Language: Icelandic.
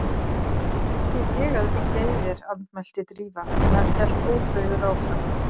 Ekki er ég að liggja í þér- andmælti Drífa en hann hélt ótrauður áfram